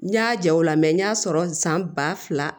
N y'a ja o la n y'a sɔrɔ san ba fila